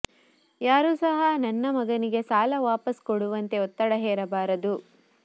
ಯಾರೂ ಸಹ ನನ್ನ ಮಗನಿಗೆ ಸಾಲ ವಾಪಸ್ ಕೊಡುವಂತೆ ಒತ್ತಡ ಹೇರಬಾರದು